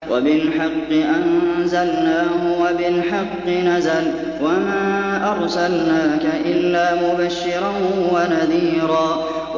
وَبِالْحَقِّ أَنزَلْنَاهُ وَبِالْحَقِّ نَزَلَ ۗ وَمَا أَرْسَلْنَاكَ إِلَّا مُبَشِّرًا وَنَذِيرًا